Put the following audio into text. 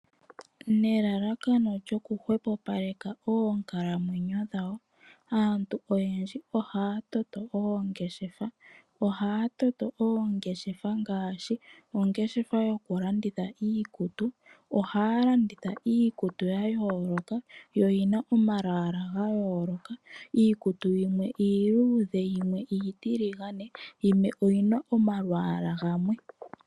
Nelalakano lyokuhwepopaleka oonkalamwenyo dhawo, aantu oyendji ohaa toto oongeshefa. Ohaa toto oongeshefa ngaashi ongeshefa yokulanditha iikutu, ohaa landitha iikutu ya yooloka, yo yi na omalwaala ga yooloka. Iikutu yimwe iiluudhe, yimwe iitiligane, yimwe oyi na omalwaala gamwe.